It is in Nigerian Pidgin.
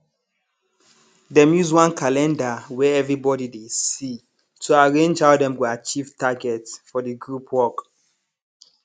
dem use one calendar wey everybody dey see to arrange how dem go achieve target for the group work